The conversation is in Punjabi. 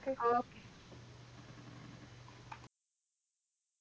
okay